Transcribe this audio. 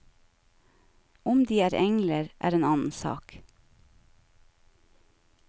Om de er engler, er en annen sak.